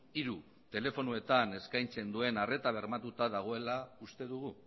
hiru telefonoetan eskaintzen duen arreta bermatuta dagoela uste dugu